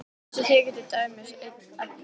Þessi þykir til dæmis einn efni.